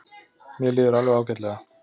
Mér líður alveg ágætlega.